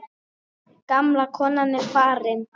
Gamla konan er farin.